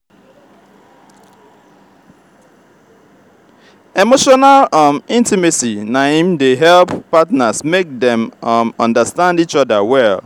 emotional um intimacy na im dey help partners make dem um understand each other well.